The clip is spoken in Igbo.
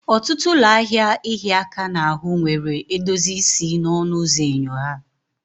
Ọtụtụ ụlọ ahịa ịhịa aka n'ahụ nwere edozi isi n'ọnụ ụzọ enyo ha.